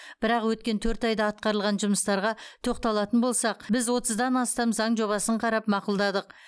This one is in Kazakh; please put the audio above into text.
бірақ өткен төрт айда атқарылған жұмыстарға тоқталатын болсақ біз отыздан астам заң жобасын қарап мақұлдадық